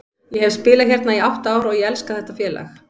Ég hef spilað hérna í átta ár og ég elska þetta félag.